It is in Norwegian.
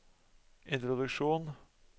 introduksjon